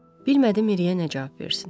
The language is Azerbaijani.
Bilmədi Miriyə nə cavab versin.